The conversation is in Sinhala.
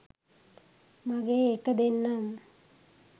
මගේ එක දෙන්නම්